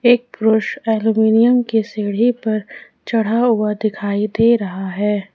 एक पुरुष एल्युमिनियम के सीढ़ी पर चढ़ा हुआ दिखाई दे रहा है।